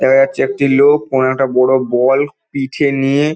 দেখা যাচ্ছে একটি লোক কোন একটা বড় বল পিঠে নিয়ে--